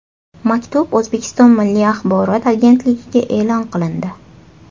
Maktub O‘zbekiston Milliy Axborot agentligida e’lon qilindi .